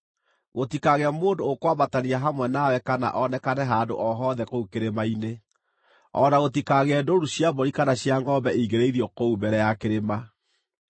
Gũtikagĩe mũndũ ũkwambatania hamwe nawe kana onekane handũ o hothe kũu kĩrĩma-inĩ; o na gũtikagĩe ndũũru cia mbũri kana cia ngʼombe ingĩrĩithio kũu mbere ya kĩrĩma.”